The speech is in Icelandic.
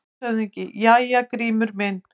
LANDSHÖFÐINGI: Jæja, Grímur minn!